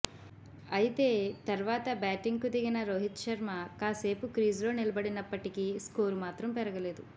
అయితే తర్వాత బ్యాటింగ్కు దిగిన రోహిత్ శర్మ కాసేపు క్రీజులో నిలబడినప్పటికీ స్కోరు మాత్రం పెరగలేదు